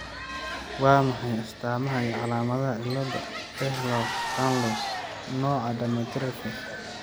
Waa maxay astamaha iyo calaamadaha cilada Ehlers Danlos , nooca dermatosparaxis?